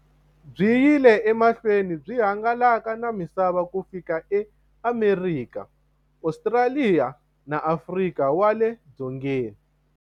Byi yile emahlweni byi hangalaka na misava ku fika e Amerika, Ostraliya na Afrika wale dzongeni.